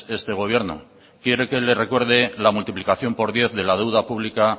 este gobierno quiere que le recuerde la multiplicación por diez de la deuda pública